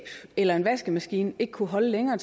eller en vaskemaskine ikke kunne holde længere